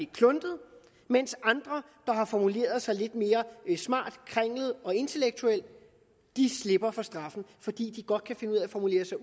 kluntet mens andre der har formuleret sig lidt mere smart kringlet og intellektuelt slipper for straffen fordi de godt kan finde ud af at formulere sig